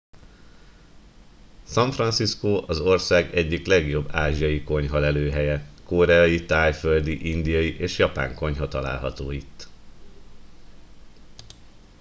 san francisco az ország egyik legjobb ázsiai konyha lelőhelye koreai tájföldi indiai és japán konyha található itt